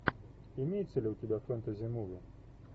имеется ли у тебя фэнтези муви